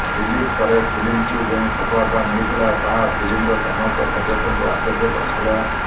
release ପରେ ଫିଲ୍ମକୁ ଯେଉଁ ସଫଳତା ମିଳିଥିଲା ତାହା ଫିଲ୍ମର ସମସ୍ତ ସଦସ୍ୟଙ୍କୁ ଆଶ୍ଚର୍ଯ୍ୟ କରିଥିଲା